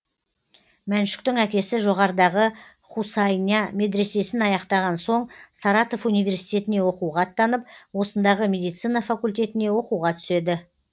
мәншүктің әкесі жоғарыдағы хұсайня медресесін аяқтаған соң саратов университетіне оқуға аттанып осындағы медицина факультетіне оқуға түседі